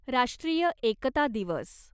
राष्ट्रीय एकता दिवस